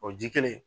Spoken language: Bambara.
O ji kelen